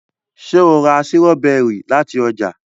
ṣe o rà Sírọ́bẹ́rì láti oja?